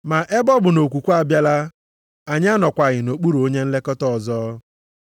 Ma ebe ọ bụ na okwukwe abịala, anyị anọkwaghị nʼokpuru onye nlekọta ọzọ.